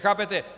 Chápete?